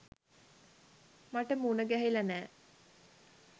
මට මුණගැහිලා නෑ.